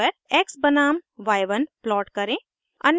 x बनाम y1 plot करें